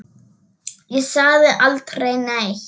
Ég sagði aldrei neitt.